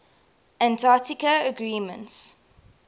antarctica agreements